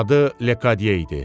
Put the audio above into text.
Adı Lekadye idi.